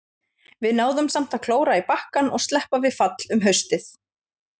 Við náðum samt að klóra í bakkann og sleppa við fall um haustið.